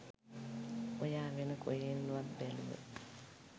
ඔයා වෙන කොහෙන්වත් බැලුව